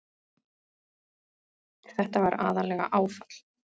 Þetta var aðallega áfall.